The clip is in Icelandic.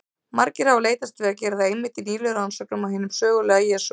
Margir hafa leitast við að gera það einmitt í nýlegum rannsóknum á hinum sögulega Jesú.